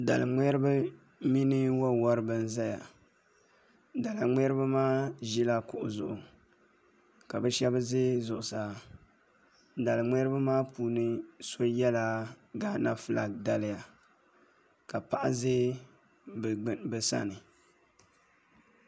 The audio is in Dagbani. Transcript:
Dalin ŋmɛribi mini wo woribi n ʒɛya daliŋ ŋmɛribi maa ʒila kuɣu zuɣu ka bi shab ʒɛ zuɣusaa daliŋ ŋmɛribi maa puuni shab yɛla gaana fulak daliya ka paɣa ʒɛ bi sani